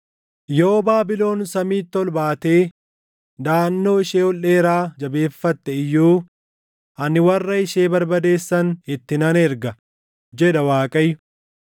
“Yoo Baabilon samiitti ol baatee daʼannoo ishee ol dheeraa jabeeffatte iyyuu, ani warra ishee barbadeessan itti nan erga” jedha Waaqayyo.